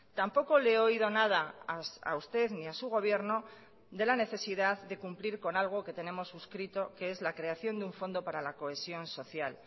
tampoco le he oído nada a usted ni a su gobierno de la necesidad de cumplir con algo que tenemos suscrito que es la creación de un fondo para la cohesión social